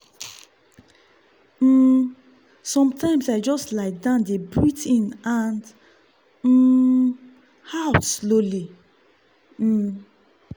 um sometimes i just lie down dey breathe in and um out slowly. um